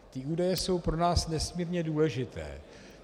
Ty údaje jsou pro nás nesmírně důležité.